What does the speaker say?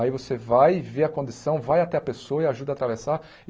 Aí você vai e vê a condição, vai até a pessoa e ajuda a atravessar.